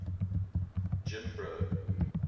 jimbro